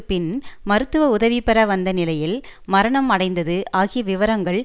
பின் மருத்துவ உதவி பெற வந்த நிலையில் மரணம் அடைந்தது ஆகிய விவரங்கள்